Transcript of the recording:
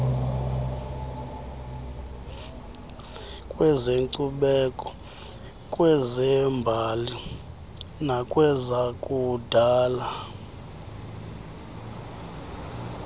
kwezenkcubeko kwezembali nakwezakudala